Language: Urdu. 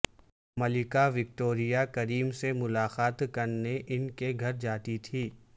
ملکہ وکٹوریہ کریم سے ملاقات کرنے ان کے گھر جاتی تھیں